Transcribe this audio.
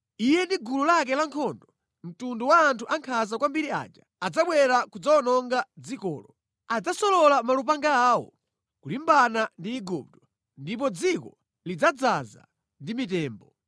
Iye ndi gulu lake lankhondo, mtundu wa anthu ankhanza kwambiri aja adzabwera kudzawononga dzikolo. Adzasolola malupanga awo kulimbana ndi Igupto ndipo dziko lidzadzaza ndi mitembo.